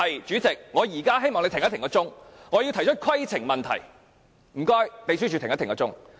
主席，我現在希望你暫停計時器，我要提出規程問題，請秘書處暫停計時器。